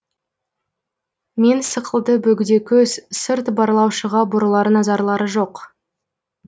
мен сықылды бөгде көз сырт барлаушыға бұрылар назарлары жоқ